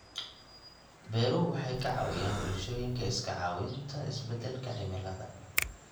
Beeruhu waxay ka caawiyaan bulshooyinka iska caabinta isbeddelka cimilada.